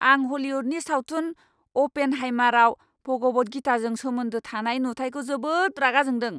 आं हलिउदनि सावथुन "अ'पेनहाइमार"आव भगवद गीताजों सोमोन्दो थानाय नुथाइखौ जोबोद रागा जोंदों।